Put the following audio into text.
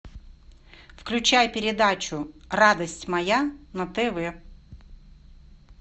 включай передачу радость моя на тв